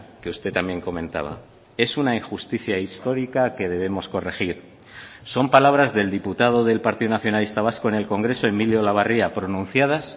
que usted también comentaba es una injusticia histórica que debemos corregir son palabras del diputado del partido nacionalista vasco en el congreso emilio olabarria pronunciadas